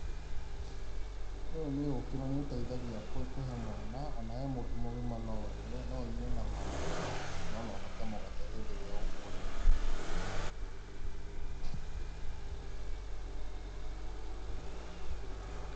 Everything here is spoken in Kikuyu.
Ũyũ nĩ ũkĩ na nĩ ũteithagia kũhe mwana, o na we mũndũ mũgima no ũnyue, no ũnyue na maĩ, kana ona ũhake mũgate hĩndĩ ĩrĩa ũkũrĩa.